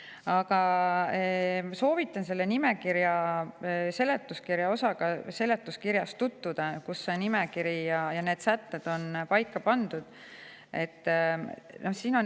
Aga soovitan seletuskirja selle osaga tutvuda, kus see nimekiri ja need sätted on kirja pandud.